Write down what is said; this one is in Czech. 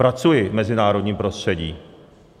Pracuji v mezinárodním prostředí.